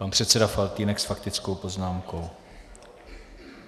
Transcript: Pan předseda Faltýnek s faktickou poznámkou.